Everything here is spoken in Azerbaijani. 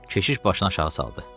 Keşiş başını aşağı saldı.